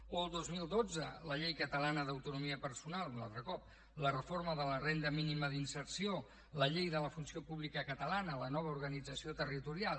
o el dos mil dotze la llei catalana d’autonomia personal un altre cop la reforma de la renda mínima d’inserció la llei de la funció pública catalana la nova organització territorial